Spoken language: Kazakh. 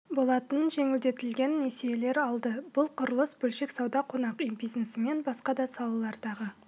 болатын жеңілдетілген несиелер алды бұл құрылыс бөлшек сауда қонақ үй бизнесі мен басқа да салалардағы